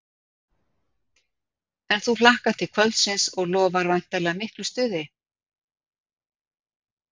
En þú hlakkar til kvöldsins og lofar væntanlega miklu stuði?